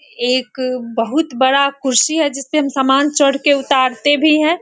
एक बहुत बड़ा कुर्सी है जिसपे हम समान चढ़के उतारते भी हैं।